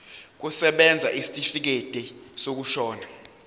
kusebenza isitifikedi sokushona